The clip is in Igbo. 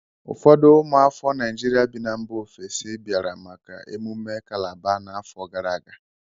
Ụfọdụ ụmụafọ Naijiria bí na mba ofesi biara maka émumé kalaba n'afọ gara aga